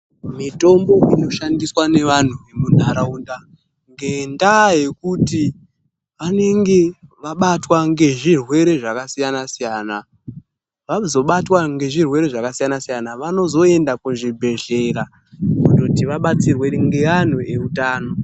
Mitombo inoshandiswa nevanhu munharaunda ngendaa yekuti anenge vabatwa ngezvirwere zvakasiyanasiyana. Vazobatwa ngezvirwere zvakasiyanasiyana, vanozoenda kuzvibhehlera, kundoti vabatsirwe ngeanhu eutano.